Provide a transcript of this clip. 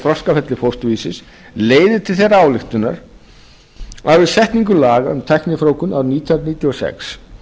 þroskaferli fósturvísis leiðir til þeirrar ályktunar að við setningu laga um tæknifrjóvgun á rið nítján hundruð níutíu og sex